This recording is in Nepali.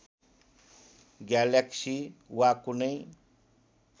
ग्यालेक्सी वा कुनै